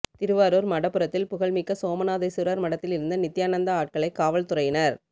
திருவாரூர் மடப்புறத்தில் புகழ்மிக்க சோமநாதேஸ்வரர் மடத்தில் இருந்த நித்யானந்தா ஆட்களைக் காவல்துறையினர்